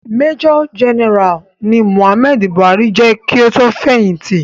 Major general ni Muhammadu Buhari je ki o tó fẹ̀hìtì.